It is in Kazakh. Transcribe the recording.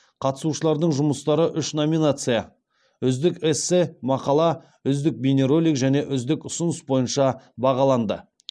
қатысушылардың жұмыстары үш номинация үздік эссе мақала үздік бейнеролик және үздік ұсыныс бойынша бағаланды